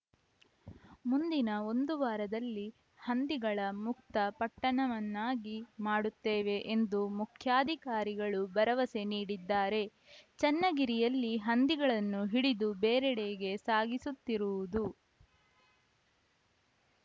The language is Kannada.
ಮುಂದಿನ ಒಂದು ವಾರದಲ್ಲಿ ಹಂದಿಗಳ ಮುಕ್ತ ಪಟ್ಟಣವನ್ನಾಗಿ ಮಾಡುತ್ತೇವೆ ಎಂದು ಮುಖ್ಯಾಧಿಕಾರಿಗಳೂ ಭರವಸೆ ನೀಡಿದ್ದಾರೆ ಚನ್ನಗಿರಿಯಲ್ಲಿ ಹಂದಿಗಳನ್ನು ಹಿಡಿದು ಬೇರೆಡೆಗೆ ಸಾಗಿಸುತ್ತಿರುವುದು